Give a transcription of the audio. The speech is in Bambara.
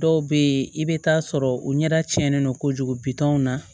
Dɔw bɛ yen i bɛ taa sɔrɔ u ɲɛda cɛnnen don kojugu bitɔn na